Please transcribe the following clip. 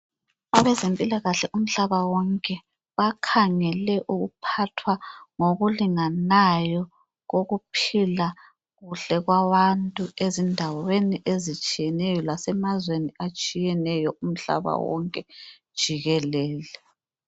Abezempilakahle umhlaba wonke, bakhangele ukuphathwa ngokulinganayo kokuphila kuhle kwabantu ezindaweni ezitshiyeyo lasemazweni atshiyeneyo umhlaba wonke jikelele.